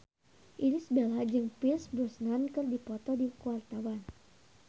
Irish Bella jeung Pierce Brosnan keur dipoto ku wartawan